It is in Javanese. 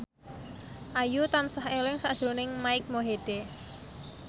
Ayu tansah eling sakjroning Mike Mohede